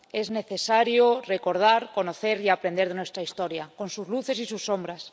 Es necesario recordar, conocer y aprender de nuestra historia, con sus luces y sus sombras.